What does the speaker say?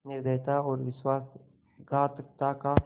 निर्दयता और विश्वासघातकता का